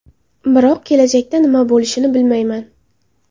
Biroq kelajakda nima bo‘lishini bilmayman.